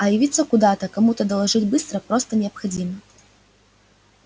а явиться куда то кому то доложить было просто необходимо